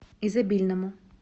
изобильному